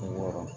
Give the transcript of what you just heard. Wɔɔrɔ